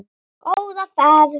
Góða ferð!